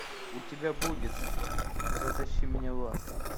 у тебя будет затащи меня в ад